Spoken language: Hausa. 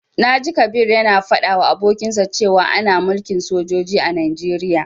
Na ji Kabir ya na faɗa wa abokinsa cewa ana mulkin sojoji a Najeriya